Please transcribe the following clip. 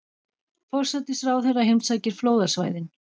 Forsætisráðherra heimsækir flóðasvæðin